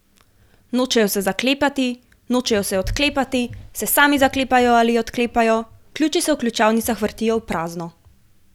Nočejo se zaklepati, nočejo se odklepati, se sami zaklepajo ali odklepajo, ključi se v ključavnicah vrtijo v prazno ...